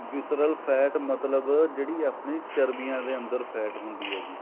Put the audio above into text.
whistler fat ਮਤਲਬ ਜਿਹੜੀ ਆਪਣੀ ਚਰਬੀਆਂ ਦੇ ਅੰਦਰ fat ਹੁੰਦੀ ਹੈ ਜੀ